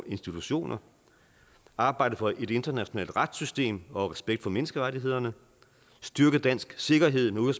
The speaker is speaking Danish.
institutioner arbejde for et internationalt retssystem og respekt for menneskerettighederne og styrke dansk sikkerhed med